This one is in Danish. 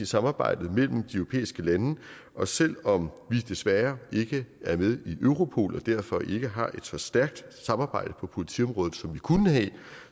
samarbejdet mellem de europæiske lande og selv om vi desværre ikke er med i europol og derfor ikke har et så stærkt samarbejde på politiområdet som vi kunne have